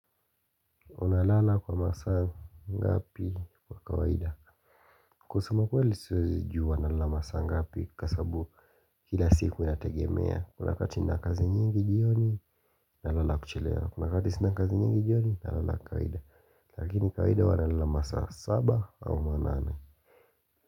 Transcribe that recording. Unalala kwa masaa ngapi kwa kawaida kusema ukweli siwezi jua nalala masaa ngapi kwa sababu kila siku inategemea Kuna wakati nina kazi nyingi jioni, nalala kuchelewa Kuna wakati sina kazi nyingi jioni, nalala kawaida Lakini kawaida huwa nalala ma saa saba au manane.